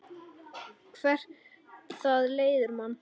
Hvert það leiðir mann.